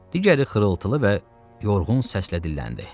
Digəri xırıltılı və yorğun səslə dilləndi.